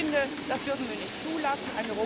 Ich finde, das dürfen wir nicht zulassen!